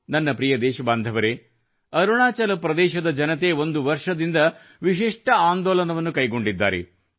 ನನ್ನ ಪ್ರಿಯ ದೇಶಬಾಂಧವರೆ ಅರುಣಾಚಲ ಪ್ರದೇಶದ ಜನತೆ ಒಂದು ವರ್ಷದಿಂದ ವಿಶಿಷ್ಟ ಆಂದೋಲನವನ್ನು ಕೈಗೊಂಡಿದ್ದಾರೆ